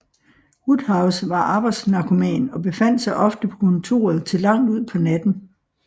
Woodhouse var arbejdsnarkoman og befandt sig ofte på kontoret til langt ud på natten